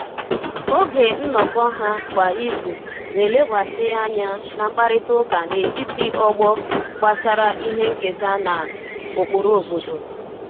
Oge nnọkọ ha kwa izu na-elekwasị anya na mkparịta ụka n'etiti ọgbọ gbasara ihe nketa na um ụkpụrụ obodo